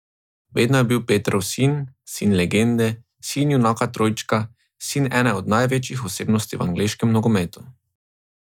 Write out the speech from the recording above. Vedno je bil Petrov sin, sin legende, sin junaka trojčka, sin ene od največjih osebnosti v angleškem nogometu ...